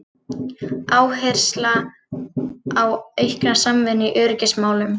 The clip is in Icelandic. Áhersla á aukna samvinnu í öryggismálum